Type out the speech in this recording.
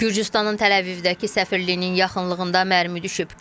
Gürcüstanın Təl-Əvivdəki səfirliyinin yaxınlığında mərmi düşüb.